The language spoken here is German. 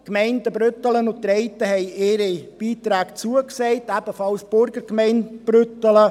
Die Gemeinden Brüttelen und Treiten haben ihre Beiträge zugesagt, ebenfalls die Burgergemeinde Brüttelen.